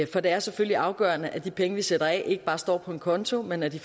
for det er selvfølgelig afgørende at de penge vi sætter af ikke bare står på en konto men at de